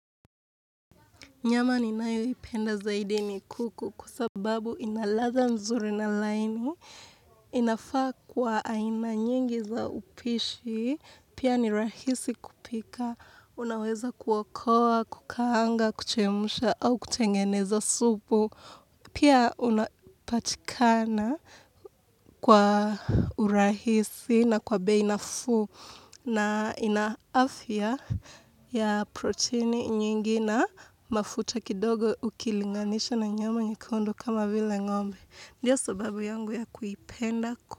Nyama ninayoipenda zaidi ni kuku kwa sababu inaladha nzuri na laini, inafaa kwa aina nyingi za upishi, pia ni rahisi kupika, unaweza kuwakoa, kukaanga, kuchemsha au kutengeneza supu. Pia unapatikana kwa urahisi na kwa bei nafuu na ina afya ya protini nyingi na mafuta kidogo ukilinganisha na nyama nyekundo kama vile ngombe. Ndiyo sababu yangu ya kuipenda.